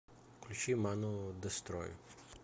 включи ману дестрой